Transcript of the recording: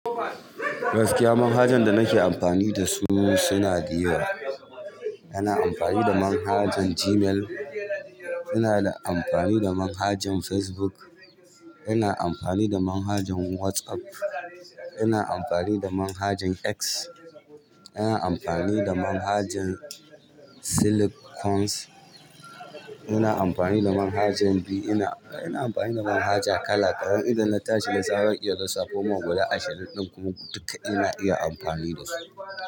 Gaskiya manhajan da nake amfani da su suna da yawa. Ina amfani da manhajan Gmail, ina da amfani da manhajan Facebook, ina amfani da manhajan WhatsApp, ina amfani da manhajan X, ina amfani da manhajan Slack, ina amfani da manhajan B, ina, ina amfani da manhaja kala karen idan na tashi na zara iya lisafoma guda ashirin ɗin kuma duka ina iya amfani da su.